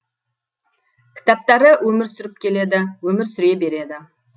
кітаптары өмір сүріп келеді өмір сүре береді